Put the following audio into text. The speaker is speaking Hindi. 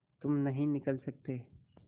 तुम नहीं निकल सकते